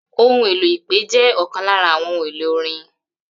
Ohun èlò ipe jẹ́ ọkan lára àwọn ohun èlò orin